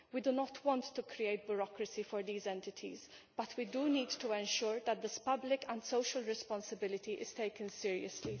We do not want to create bureaucracy for these entities but we do need to ensure that this public and social responsibility is taken seriously.